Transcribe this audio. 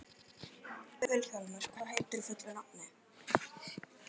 Vilhjálmur, hvað heitir þú fullu nafni?